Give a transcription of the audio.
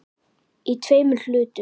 Í tveimur hlutum.